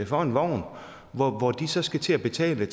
for en vogn hvor hvor de så skal til at betale